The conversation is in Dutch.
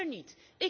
Die is er niet.